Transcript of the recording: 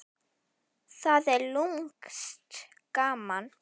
Það er lúmskt gaman.